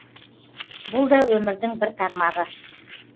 бұл да өмірдің бір тармағы